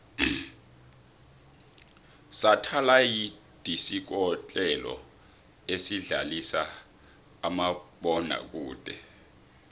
sathalayidisikotlelo esidlalisa umabona kude